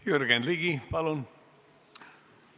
Jürgen Ligi, palun!